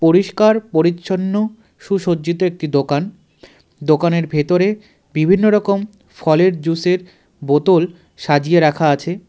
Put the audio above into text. পরিষ্কার পরিচ্ছন্ন সুসজ্জিত একটি দোকান দোকানের ভেতরে বিভিন্ন রকম ফলের জুসের বোতল সাজিয়ে রাখা আছে.